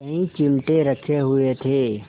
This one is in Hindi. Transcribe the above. कई चिमटे रखे हुए थे